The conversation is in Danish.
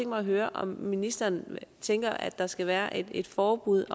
mig at høre om ministeren tænker at der skal være et forbud